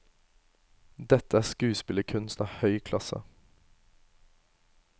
Dette er skuespillerkunst av høy klasse.